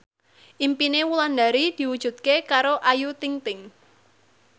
impine Wulandari diwujudke karo Ayu Ting ting